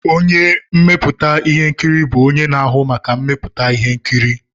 Onye na-emepụta ihe nkiri bụ onye na-ahụ maka mmepụta ihe nkiri.